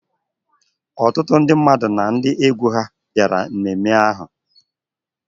Ọtụtụ ndị mmadụ na ndị egwu ha bịara ememme ahụ.